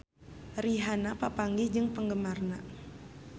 Rihanna papanggih jeung penggemarna